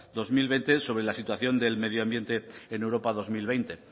dos mil veinte sobre la situación del medio ambiente en europa dos mil veinte